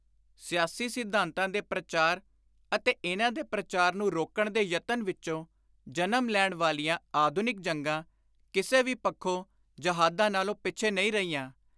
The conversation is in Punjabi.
ਸਿਆਸੀ ਸਿਧਾਂਤਾਂ ਦੇ ਪ੍ਰਚਾਰ ਅਤੇ ਇਨ੍ਹਾਂ ਦੇ ਪ੍ਰਚਾਰ ਨੂੰ ਰੋਕਣ ਦੇ ਯਤਨ ਵਿਚੋਂ ਜਨਮ ਲੈਣ ਵਾਲੀਆਂ ਆਧੁਨਿਕ ਜੰਗਾਂ, ਕਿਸੇ ਵੀ ਪੱਖੋਂ, ਜਹਾਦਾਂ ਨਾਲੋਂ ਪਿੱਛੇ ਨਹੀਂ ਰਹੀਆਂ।